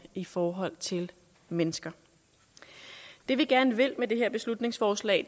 i forhold til mennesker det vi gerne vil med det her beslutningsforslag